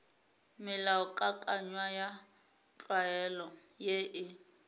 melaokakanywa ya tlwaelo ye e